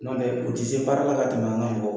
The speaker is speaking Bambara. N'o tɛ, o tɛ se baara la ka tɛmɛ an ka mɔgɔw kan.